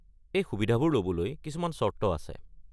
এই সুবিধাবোৰ ল'বলৈ কিছুমান চৰ্ত আছে।